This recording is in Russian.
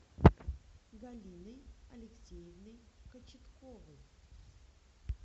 галиной алексеевной кочетковой